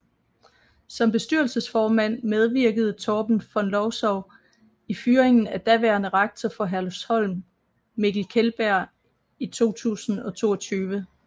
Som bestyrelsesformand medvirkede Torben von Lowzow i fyringen af daværende rektor for Herlufsholm Mikkel Kjellberg i 2022